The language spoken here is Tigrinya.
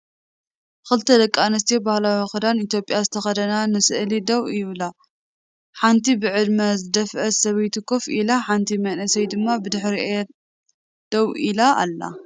ክልተ ደቂ ኣንስትዮ ባህላዊ ክዳን ኢትዮጵያ ዝተኸድና ንስእሊ ደው ይብላ። ሓንቲ ብዕድመ ዝደፍአት ሰበይቲ ኮፍ ኢላ፡ ሓንቲ መንእሰይ ድማ ብድሕሪኦም ደው ኢላ ኣላ።